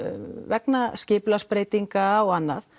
vegna skipulagsbreytinga og annað